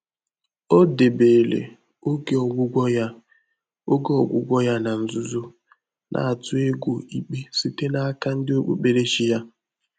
Ọ́ dèbèrè ògé ọ́gwụ́gwọ́ yá ògé ọ́gwụ́gwọ́ yá nà nzùzò, nà-àtụ́ égwú íkpé sìté n’áká ndị́ ókpùkpéréchí yá.